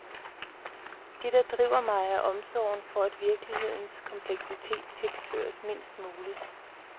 Det der driver mig er omsorgen for at virkelighedens kompleksitet tilsløres mindst muligt.